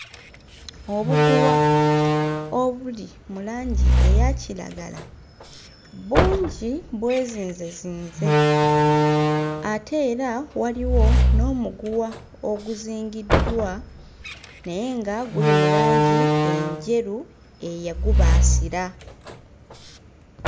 Obuguwa obuli mu langi eya kiragala bungi bwezinzezinze ate era waliwo n'omuguwa oguzingiddwa naye nga guli mu langi enjeru eyagubaasira.